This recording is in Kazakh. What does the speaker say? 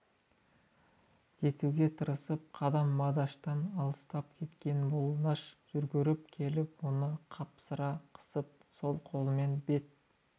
кетуге тырысып қадам молдаштан алыстап кеткенде молдаш жүгіріп келіп оны қапсыра қысып сол қолымен бет